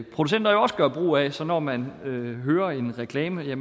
producenter jo også gør brug af så når man hører en reklame